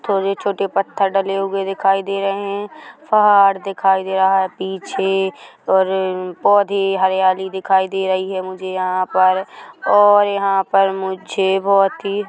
छोटे छोटे पत्थर डले हुए दिखाई दे रहे हैं फहाड़ दिखाई दे रहा हैं पीछे और पौधे हरियाली दिखाई दे रही हैं मुझे यहाँ पर और यहाँ पर मुझे बहोत ही--